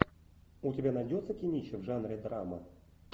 у тебя найдется кинище в жанре драма